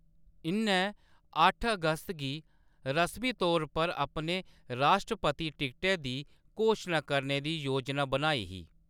इʼन्नै अट्ठ अगस्त गी रसमी तौर पर अपने राश्ट्रपति टिकटै दी घोशना करने दी योजना बनाई ही।